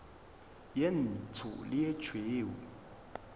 ye ntsho le ye tšhweu